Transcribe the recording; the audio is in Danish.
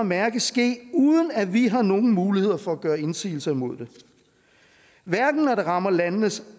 mærke ske uden at vi har nogen muligheder for at gøre indsigelser imod det hverken når det rammer landenes